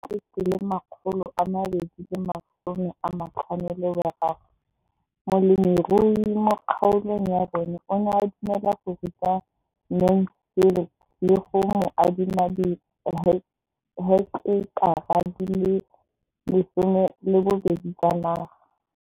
Ka ngwaga wa 2013, molemirui mo kgaolong ya bona o ne a dumela go ruta Mansfield le go mo adima di heketara di le 12 tsa naga.